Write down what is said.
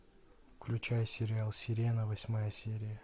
включай сериал сирена восьмая серия